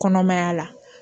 Kɔnɔmaya la